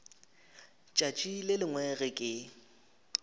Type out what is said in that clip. tšatši le lengwe ge ke